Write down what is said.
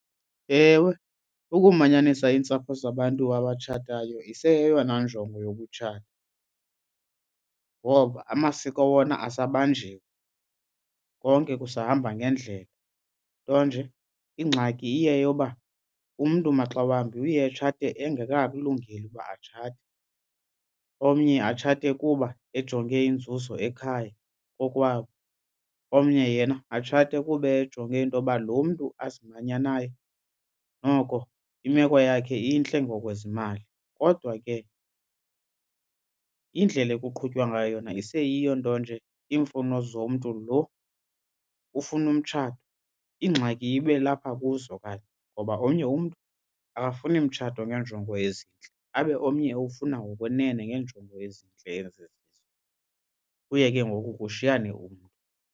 Ewe, ukumanyanisa iintsapho zabantu abatshatayo iseyeyona njongo yokutshata ngoba amasiko wona asabanjiwe konke kusahamba ngendlela. Nto nje ingxaki iye yoba umntu maxa wambi uye atshate engekakulungeli ukuba atshate. Omnye atshate kuba ejonge inzuzo ekhaya kokwabo, omnye yena atshate kube ejonge into yoba lo mntu azimanya naye noko imeko yakhe intle ngokwezimali. Kodwa ke indlela ekuqhutywa ngayo yona iseyiyo nto nje iimfuno zomntu lo ufuna umtshato, ingxaki ibe lapha kuzo kanye ngoba omnye umntu akafuni mtshato ngenjongo ezintle, abe omnye ewufuna ngokwenene ngeenjongo ezintle ezizizo. Kuye ke ngoku kushiyane umntu.